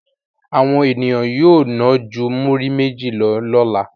Àwọn ènìyàn yóò ná ju múrí méjì lọ lọ́la.